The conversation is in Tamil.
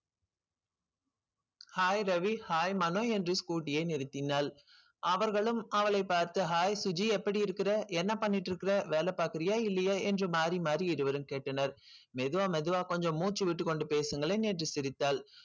hi ரவி hi மனோ என்று scooty யை நிறுத்தினாள் அவர்களும் அவளைப் பார்த்து hi சுஜி எப்படி இருக்கிற என்ன பண்ணிட்டு இருக்கிற வேல பார்க்கிறியா இல்லையா என்று மாறி மாறி இருவரும் கேட்டனர் மெதுவா மெதுவா கொஞ்சம் மூச்சு விட்டுக் கொண்டு பேசுங்களேன் என்று சிரித்தாள்